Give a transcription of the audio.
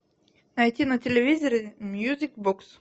найти на телевизоре мьюзик бокс